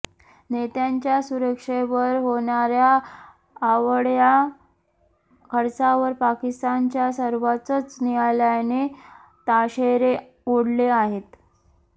नेत्यांच्या सुरक्षेवर होणाऱ्या अवाढव्य खर्चावर पाकिस्तानच्या सर्वोच्च न्यायालयाने ताशेरे ओढले आहेत